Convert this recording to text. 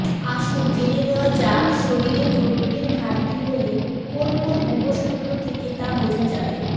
আসুন জেনে নেওয়া যাক শরীরে প্রোটিনের ঘাটতি হলে কোন কোন উপসর্গ থেকে তা বোঝা যাবে